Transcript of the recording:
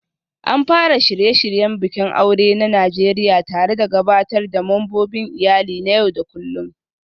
An fara shirye-shiryen bikin aure na Najeriya tare da gabatar da membobin iyali na yau da kullun